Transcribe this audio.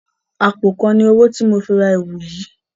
Àpòkan ni owó tí mo fi ra ẹ̀wu yìí